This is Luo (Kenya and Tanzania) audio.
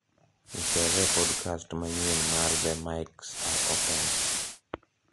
nichezee podcast manyien mar the mics are open